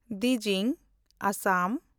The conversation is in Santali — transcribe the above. ᱫᱣᱤᱡᱤᱝ (ᱟᱥᱟᱢ)